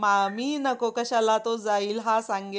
कशाला तो जाईल हा सांगेल